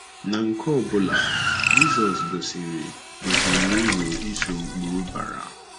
Na nke ọ bụla, Jizọs gosiri gosiri uru ịso ụkpụrụ bara.